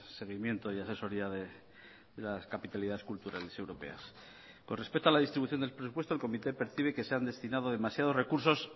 seguimiento y asesoría de las capitalidad cultural europea por respeto a la distribución del presupuesto el comité percibe que se han destinado demasiados recursos